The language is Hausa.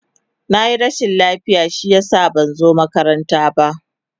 Na yi rashin lafiya shi ya sa ban zo makaranta ba.